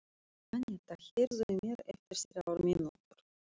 Annetta, heyrðu í mér eftir þrjár mínútur.